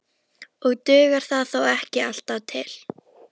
Og dugar það þó ekki alltaf til.